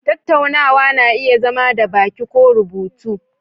Tattaunawa na iya zama da baki ko kuma rubutu